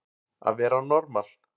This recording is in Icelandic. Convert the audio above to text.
Að vera normal